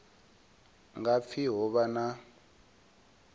nga pfi ho vha na